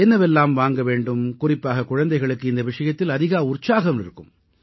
என்னவெல்லாம் வாங்க வேண்டும் குறிப்பாக குழந்தைகளுக்கு இந்த விஷயத்தில் அதிக உற்சாகம் இருக்கும்